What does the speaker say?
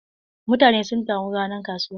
Mutane sun taru ranar kasuwa.